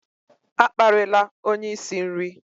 A kparịla onye isi nri!